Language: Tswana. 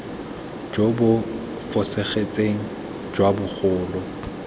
jo bo fosagetseng jwa bogolo